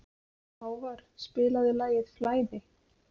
Hávarr, spilaðu lagið „Flæði“.